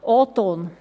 » Dies ist O-Ton.